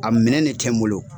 A minɛn ne tɛ n bolo.